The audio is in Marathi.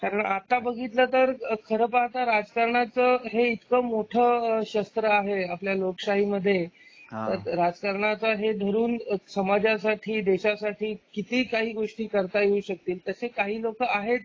कारण आता बघितलं तर खरं पाहता राजकारणाच हे इतकं मोठं शस्त्र आहे. आपल्या लोकशाही मध्ये राजकारणाचा आहे धरून समाजासाठी देशासाठी किती काही गोष्टी करता येऊ शकतील तसे काही लोक आहेत.